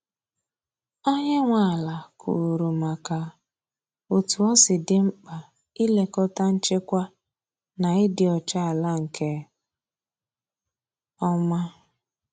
Onye nwe ala kwuru maka otú osi di mkpa ị lekọta nchekwa na ịdị ọcha ala nke ọma.